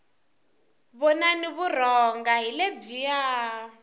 vonani vurhonga hi lebyiya